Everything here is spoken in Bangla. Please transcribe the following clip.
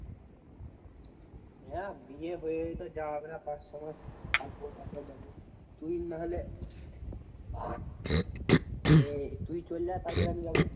হ্যাঁ বিয়ে হয়েই তো যাওয়া হবে না পাঁচ ছ মাস থাকবো তারপার যাব। তুই নাহলে এর তুই চলে যা তারপর আমি যাব।